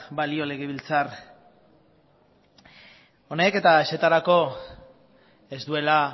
balio legebiltzar honek eta ezertarako ez duela